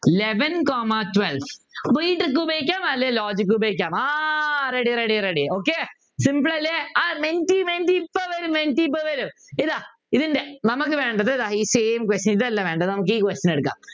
Eleven comma twelve ഒന്നുകിൽ trick ഉപയോഗിക്കാം അല്ലെങ്കിൽ logic ഉപയോഗിക്കാം ആഹ് ready ready ready okay simple അല്ലേ ആഹ് മെൻറ്റി മെൻറ്റി മെൻറ്റി ഇപ്പോ വരും ഇതാ ഇതിൻ്റെ നമുക്ക് വേണ്ടത് ഇതാ ഈ same question ഇതല്ല വേണ്ടത് നമുക്ക് ഈ question എടുക്കാം